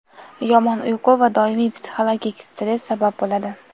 yomon uyqu va doimiy psixologik stress sabab bo‘ladi.